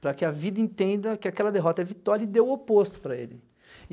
Para que a vida entenda que aquela derrota é vitória e dê o oposto para ele.